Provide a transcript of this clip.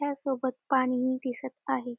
ह्या सोबत पाणी दिसत आहे.